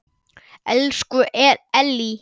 Elsku Ellý.